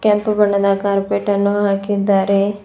ಕೆಂಪು ಬಣ್ಣದ ಕಾರ್ಪೆಟ್ ಅನ್ನು ಹಾಕಿದ್ದಾರೆ.